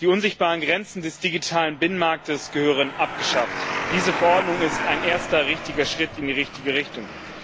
Die unsichtbaren Grenzen des digitalen Binnenmarkts müssen abgeschafft werden. Diese Verordnung ist ein erster richtiger Schritt in die richtige Richtung.